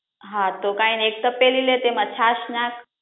હા તો કઈ નઇ એક તપેલી લે એમા છાસ નાખ